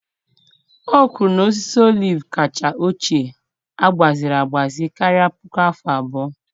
O kwuru na osisi oliv kacha ochie agbaziri agbaziri karịrị puku afọ abụọ